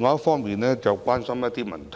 就此，我想詢問，